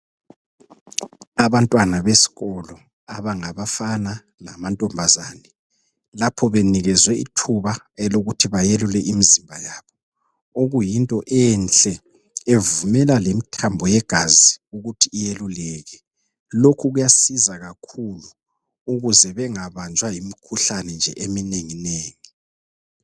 Abantwana besikolo abangabafana lamantombazana lapho benikezwe ithuba elokuthi bayelule imizimba yabo okuyinto enhle bevumela lemithambo yegazi kuthi yeluleke lokhu kuyasiza kakhulu ukuze bengabanjwa yimikhuhlane nje eminengi nengi.